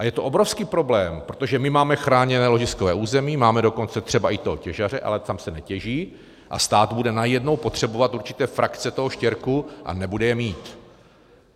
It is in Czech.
A je to obrovský problém, protože my máme chráněné ložiskové území, máme dokonce třeba i toho těžaře, ale tam se netěží, a stát bude najednou potřebovat určité frakce toho štěrku a nebude je mít.